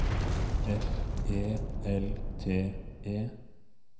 F E L T E